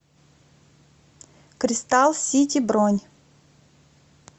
кристалл сити бронь